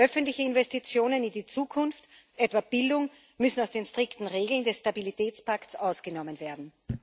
Öffentliche Investitionen in die Zukunft, etwa in Bildung, müssen aus den strikten Regeln des Stabilitätspakts ausgenommen werden.